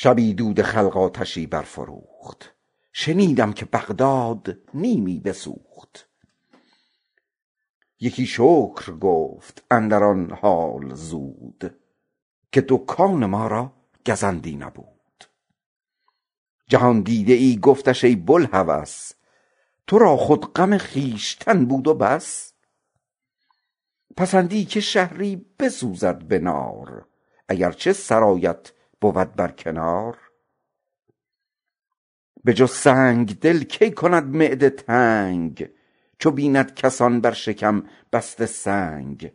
شبی دود خلق آتشی برفروخت شنیدم که بغداد نیمی بسوخت یکی شکر گفت اندران خاک و دود که دکان ما را گزندی نبود جهاندیده ای گفتش ای بوالهوس تو را خود غم خویشتن بود و بس پسندی که شهری بسوزد به نار اگر چه سرایت بود بر کنار به جز سنگدل ناکند معده تنگ چو بیند کسان بر شکم بسته سنگ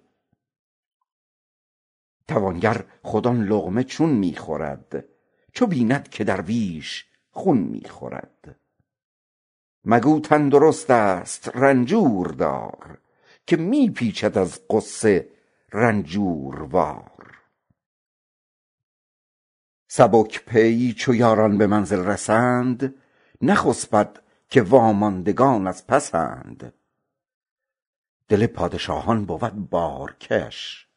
توانگر خود آن لقمه چون می خورد چو بیند که درویش خون می خورد مگو تندرست است رنجور دار که می پیچد از غصه رنجوروار تنکدل چو یاران به منزل رسند نخسبد که واماندگان از پسند دل پادشاهان شود بارکش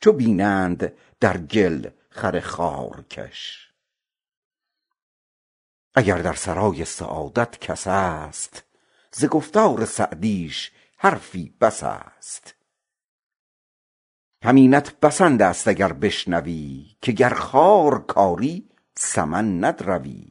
چو بینند در گل خر خارکش اگر در سرای سعادت کس است ز گفتار سعدیش حرفی بس است همینت بسنده ست اگر بشنوی که گر خار کاری سمن ندروی